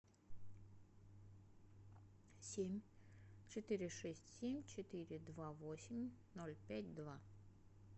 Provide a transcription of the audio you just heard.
семь четыре шесть семь четыре два восемь ноль пять два